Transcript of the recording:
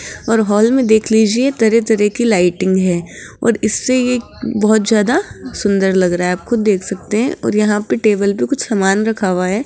और हॉल में देख लीजिए तरह तरह की लाइटिंग है और इससे एक बहोत ज्यादा सुंदर लग रहा है आप खुद देख सकते है और यहां पे टेबल पे कुछ सामान रखा हुआ है।